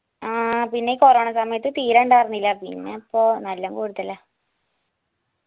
ആ പിന്നെ കൊറോണ സമയത്ത് തീരെ ഇണ്ടായിർന്നില്ല പിന്നെ ഇപ്പൊ നല്ലം കൂടുതലാ